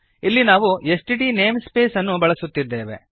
ಇಲ್ಲಿ ನಾವು STD namespace ಅನ್ನು ಬಳಸುತ್ತಿದ್ದೆವೆ